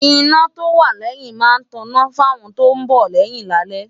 iná tó wà lẹ́yìn máa ń tọná fáwọn tó ń bọ̀ lẹ́yìn lálẹ́